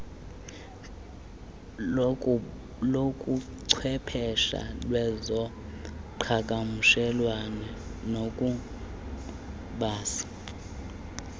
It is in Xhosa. lobuchwepeshe kwezoqhakamshelwano ukubasi